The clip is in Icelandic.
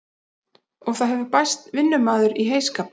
Og það hefur bæst vinnumaður í heyskapinn.